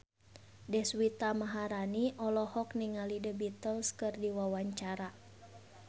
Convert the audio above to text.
Deswita Maharani olohok ningali The Beatles keur diwawancara